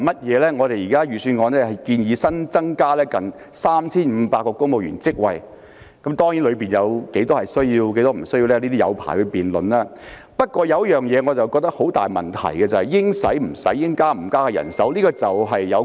現時預算案建議新增近 3,500 個公務員職位，當中哪些職位有需要、哪些職位沒有需要可以辯論很長時間，但有一個大問題是應花的錢不花，應加的人手不加。